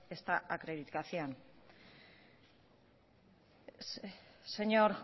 esta acreditación señor